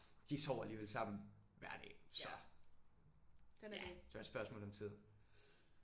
De sover alligevel sammen hver dag så. Ja det var et spørgsmål om tid